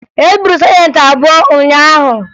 E gburu sajentị abụọ ụnyaahụ